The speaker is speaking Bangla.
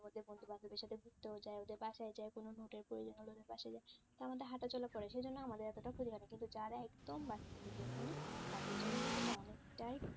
ঘুরতেও যাই ওদের বাসায় যাই কোনও note এর প্রয়োজন হলে ওদের বাসায় যাই তা আমাদের হাঁটাচলা পরে সেই জন্য আমাদের এতটা ক্ষতি হয়না কিন্তু যারা একদম বাড়ি থেকে বের হয়না তাদের জন্য কিন্তু এটা অনেকটাই